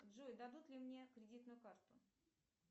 джой дадут ли мне кредитную карту